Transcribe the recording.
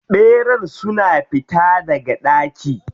Ɓerayen sun fita daga daki?